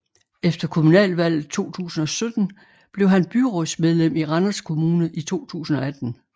Efter kommunalvalget 2017 blev han byrådsmedlem i Randers Kommune i 2018